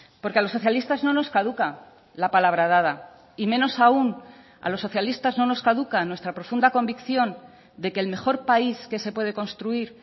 porque a los socialistas no nos caduca la palabra dada y menos aun a los socialistas no nos caduca nuestra profunda convicción de que el mejor país que se puede construir